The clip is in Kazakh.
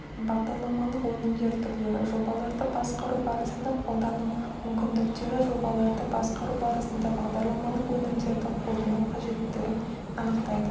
бағдарламалық өнімдер түрлері жобаларды басқару барысында қолдану мүмкіндіктері жобаларда басқару барысында бағдарламалық өнімдерді қолдану қажеттігін анықтайды